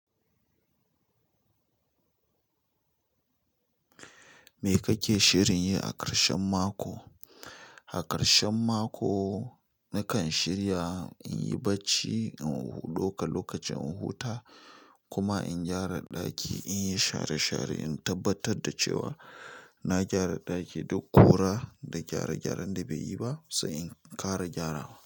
Me kake shirin yi a ƙarshen mako? A ƙarshen mako nakan shirya in yi bacci, in ɗauka lokacin in huta kuma in gyara ɗaki, in yi share-share in tabbatar da cewa na gyara ɗaki, duk ƙura da gyare-gyaren da bai yi ba sai in ƙara gyarawa.